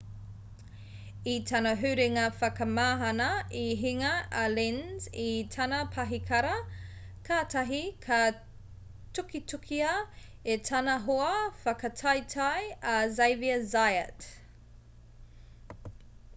i tana huringa whakamahana i hinga a lenz i tana pahikara kātahi ka tukitukia e tana hoa whakataetae a xavier zayat